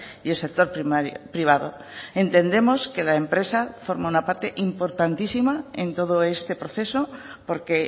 y el sector privado entendemos que la empresa forma una parte importantísima en todo este proceso porque